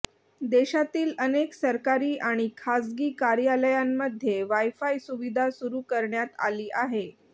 देशातील अनेक सरकारी आणि खासगी कार्यालयांमध्ये वायफाय सुविधा सुरू करण्यात आली आहे